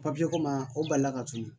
ko ma o balila ka tunu